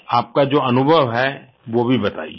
आपका जो अनुभव है वो भी बताइये